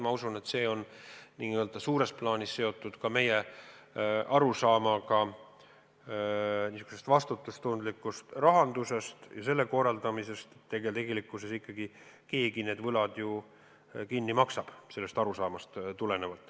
Ma usun, et see on suures plaanis seotud ka meie arusaamaga vastutustundlikust rahandusest ja selle korraldamisest, lähtudes arusaamast, et tegelikkuses ikkagi keegi need võlad ju kinni maksab.